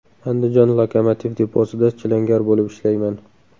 Andijon lokomotiv deposida chilangar bo‘lib ishlayman.